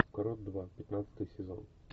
кровь два пятнадцатый сезон